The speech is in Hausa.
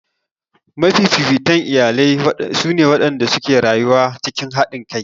Mafifitan iyalai su ne waɗanda suke rayuwa cikin haɗinkai